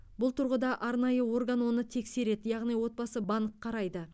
бұл тұрғыда арнайы орган оны тексереді яғни отбасы банк қарайды